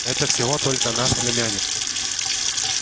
это всего только наш племянник